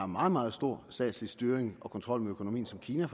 meget meget stor statslig styring og kontrol med økonomien som kina